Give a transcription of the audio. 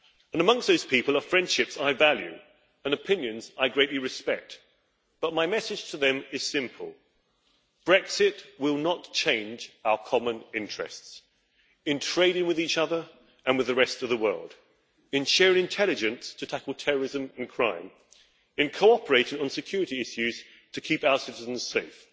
Amongst those people are friendships I value and opinions I greatly respect, but my message to them is simple Brexit will not change our common interests in trading with each other and with the rest of the world, in sharing intelligence to tackle terrorism and crime, in cooperating on security issues to keep our citizens safe.